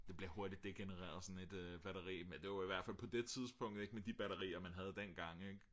det bliver hurtigt degeneret sådan et batteri eller i hvert fald på det tidspunkt med de batterier man havde dengang